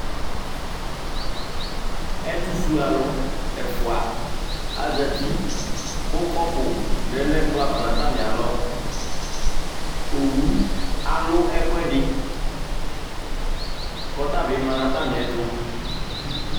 Ɛtʋfuealʋ ɛfʋa azati kʋ kɔpʋ lɛ nʋ ɛkplɔ ava nʋ atamɩalɔ Owu alʋ ɛkʋɛdɩ kʋ ɔta bɩ la nʋ atamɩɛtʋ